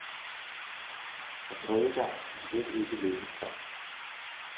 Og tredje gang var slet ikke lykkens gang.